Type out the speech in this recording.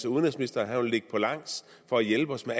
udenrigsministeren vil ligge på langs for at hjælpe os med